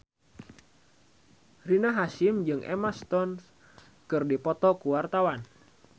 Rina Hasyim jeung Emma Stone keur dipoto ku wartawan